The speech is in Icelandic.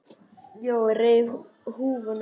Jói reif húfuna af sér.